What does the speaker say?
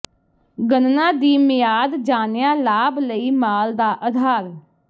ਗਣਨਾ ਦੀ ਮਿਆਦ ਜਾਣਿਆ ਲਾਭ ਲਈ ਮਾਲ ਦਾ ਅਧਾਰ